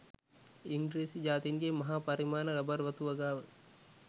ඉංග්‍රීසි ජාතින්ගේ මහා පරිමාණ රබර් වතු වගාව